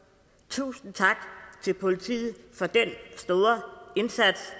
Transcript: tusind tak til politiet for den store indsats